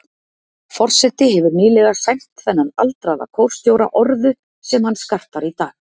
Forseti hefur nýlega sæmt þennan aldraða kórstjóra orðu, sem hann skartar í dag.